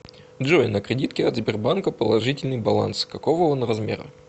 джой на кредитке от сбербанка положительный баланс какого он размера